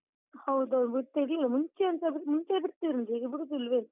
ಹೌದೌದು ಬಿಡ್ತಿರ್ಲಿಲ್ಲ, ಮುಂಚೆ ಎಂತಾದ್ರೂ, ಮುಂಚೆ ಬಿಡ್ತಿದ್ರು ಈಗ ಬಿಡುದಿಲ್ವೇನೋ?